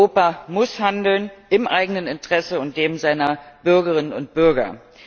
Europa muss handeln im eigenen Interesse und dem seiner Bürgerinnen und Bürger.